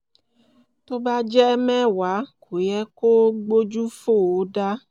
tó bá jẹ́ mẹ́wàá kò yẹ kó o gbójú fò ó dá